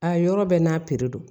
A yɔrɔ bɛɛ n'a piri don